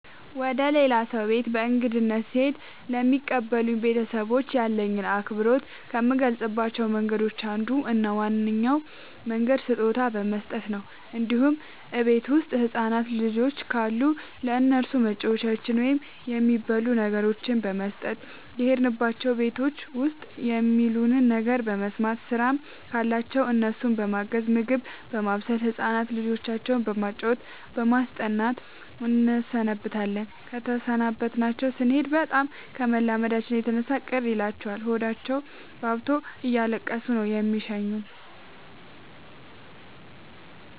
ወደ ሌላ ሰው ቤት በእንግድነት ስሄድ ለሚቀበሉኝ ቤተሰቦች ያለኝን አክብሮት ከምገልፅባቸው መንገዶች አንዱ እና ዋነኛው መንገድ ስጦታ በመስጠት ነው እንዲሁም እቤት ውስጥ ህፃናት ልጆች ካሉ ለእነሱ መጫወቻዎችን ወይም የሚበሉ ነገሮችን በመስጠት። የሄድንባቸው ቤቶች ውስጥ የሚሉንን ነገር በመስማት ስራም ካለባቸው እነሱን በማገዝ ምግብ በማብሰል ህፃን ልጆቻቸው በማጫወት በማስጠናት እንሰነብታለን ተሰናብተናቸው ስኔድ በጣም ከመላመዳችን የተነሳ ቅር ይላቸዋል ሆዳቸውባብቶ እያለቀሱ ነው የሚሸኙን።